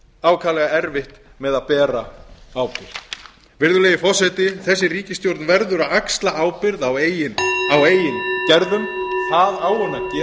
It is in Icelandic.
ákaflega erfitt með að bera ábyrgð virðulegi forseti þessi ríkisstjórn verður að axla ábyrgð á eigin gerðum það á hún að gera